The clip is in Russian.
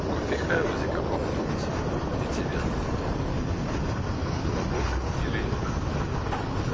в кофехаузе каком-нибудь где тебе там удобно у работы или